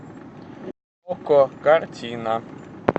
окко картина